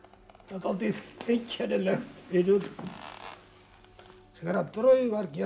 dálítið einkennilegt vinur þegar að draugar gera